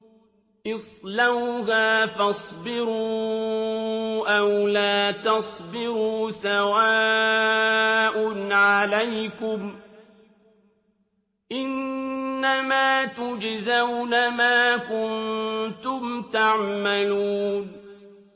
اصْلَوْهَا فَاصْبِرُوا أَوْ لَا تَصْبِرُوا سَوَاءٌ عَلَيْكُمْ ۖ إِنَّمَا تُجْزَوْنَ مَا كُنتُمْ تَعْمَلُونَ